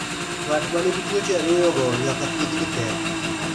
Ng'at ma nigi tuwoche ariyo go nyaka thiedhgi tee.